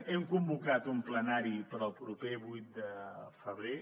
hem convocat un plenari per al proper vuit de febrer